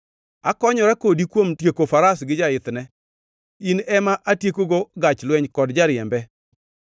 akonyora kodi kuom tieko faras gi jaithne, in ema atiekogo gach lweny kod jariembe,